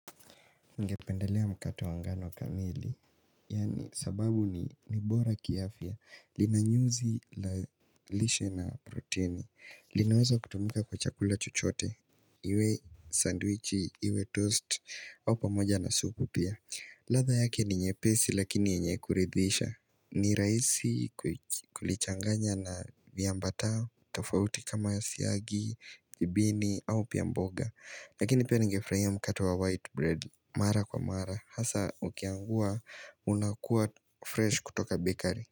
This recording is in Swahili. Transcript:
Nigependalea mkato wangano kamili Yaani sababu ni, ni bora kiafia linanyuzi la lishe na proteini linawaza kutumika kwa chakula chuchote Iwe sandwichi iwe toast au pamoja na supu pia ladha yake ni nyepesi lakini yenye kuridhisha ni rahisi kulichanganya na viambatao tafauti kama siagi, ibini au pia mboga. Lakini pia ningefurahiya mkate wa white bread Mara kwa mara hasa ukiangua unakuwa fresh kutoka bakery.